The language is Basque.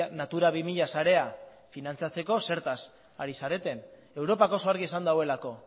natura bi mila sarea finantzatzeko zertaz ari zareten europak oso argi esan duelako